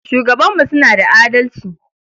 Shugabanmu suna da adalci.